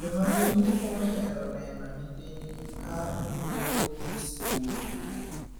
Joma mine thoro hero neno nyithindgi ka wuok dhii skul.